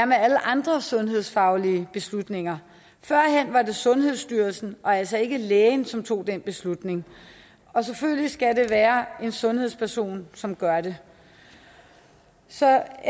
med alle andre sundhedsfaglige beslutninger førhen var det sundhedsstyrelsen og altså ikke lægen som tog den beslutning og selvfølgelig skal det være en sundhedsperson som gør det så la